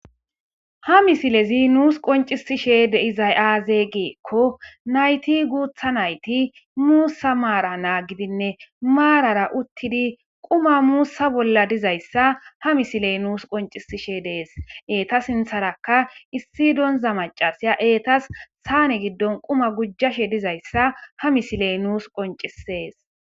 ha misilezi nuus qoncisishede dizaysiaaze geekko nayti guutha nayti muussa maara naa gidinne maarara uttidi quma muussa bolla dizayssa ha misiley nuus qoncisishe dees eeta sintharaka issi donza macasiya eetas saane giddon quma gujjashe dizayssa ha misiley nuus qoncisees